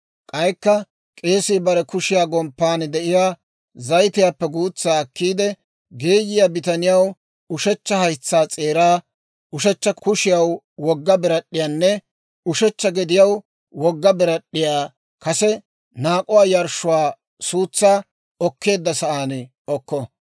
K'aykka k'eesii bare kushiyaa gomppan de'iyaa zayitiyaappe guutsaa akkiide, geeyiyaa bitaniyaw ushechcha haytsaa s'eeraa, ushechcha kushiyaw wogga birad'd'iyaanne ushechcha gediyaw wogga birad'd'iyaa kase naak'uwaa yarshshuwaa suutsaa oketteedda sa'aan okko.